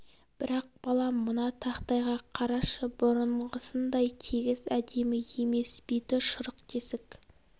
бірақ балам мына тақтайға қарашы бұрынғысындай тегіс әдемі емес беті шұрық тесік